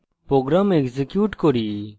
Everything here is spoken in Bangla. program execute করি